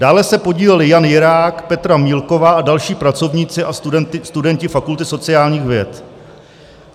Dále se podíleli: Jan Jirák, Petra Mílková a další pracovníci a studenti Fakulty sociálních věd.